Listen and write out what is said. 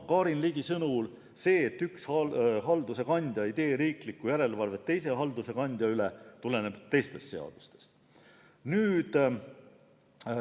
Karin Ligi sõnul see, et üks halduse kandja ei tee riiklikku järelevalvet teise halduse kandja üle, tuleneb teistest seadustest.